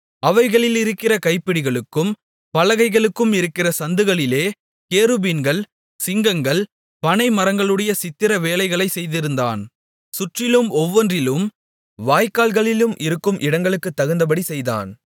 அவைகளிலிருக்கிற கைப்பிடிகளுக்கும் பலகைகளுக்கும் இருக்கிற சந்துகளிலே கேருபீன்கள் சிங்கங்கள் பனை மரங்களுடைய சித்திர வேலைகளை செய்திருந்தான் சுற்றிலும் ஒவ்வொன்றிலும் வாய்க்கால்களிலும் இருக்கும் இடங்களுக்குத் தகுந்தபடி செய்தான்